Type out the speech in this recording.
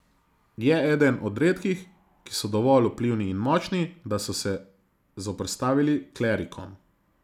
Je eden od redkih, ki so dovolj vplivni in močni, da so se zoperstavili klerikom.